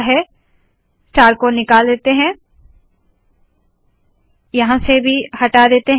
star को निकाल देते है यहाँ से भी हटा देते है